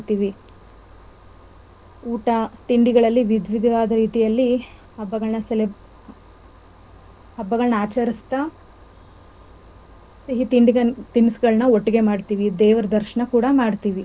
ಎಲ್ಲರೂ ಕೂಡ ಇದಕೆ ಮೊದಲಿಂದಾನೆ ಸಿದ್ದತೆಗಳನ್ನ ಮಾಡ್ಕೋತೀವಿ. ಊಟ ತಿಂಡಿಗಳಲ್ಲಿ ವಿದ್ವಿಧವಾದ ರೀತಿಯಲ್ಲಿ ಹಬ್ಬಗಳನ್ನ ಹಬ್ಬಗಳನ್ನ ಆಚರಿಸ್ತ ಸಿಹಿ ತಿನಸಗಳನ್ನ ಒಟ್ಟಿಗೆ ಮಾಡ್ತೀವಿ, ದೇವರ ದರ್ಶನ ಕೂಡ ಮಾಡ್ತೀವಿ.